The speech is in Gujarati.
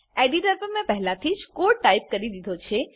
એડિટર પર મેં પહેલાથી જ કોડ ટાઈપ કરી દીધો છે